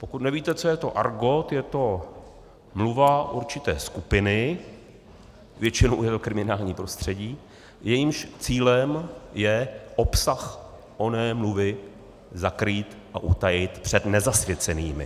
Pokud nevíte, co je to argot, je to mluva určité skupiny, většinou jde o kriminální prostředí, jejímž cílem je obsah oné mluvy zakrýt a utajit před nezasvěcenými.